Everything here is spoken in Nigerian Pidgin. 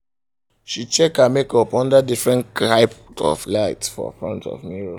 she check her makeup under different type of light for front of mirror